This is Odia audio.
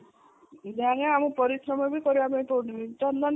ଯାହାହେଲେ ବି ଆମେ ପରିଶ୍ରମ ବି କରିବାକୁ ପଡୁନି ଚନ୍ଦନ